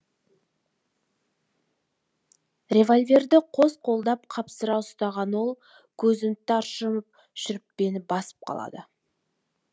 револьверді қос қолдап қапсыра ұстаған ол көзін тарс жұмып шүріппені басып қалады